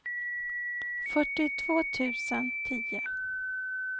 fyrtiotvå tusen tio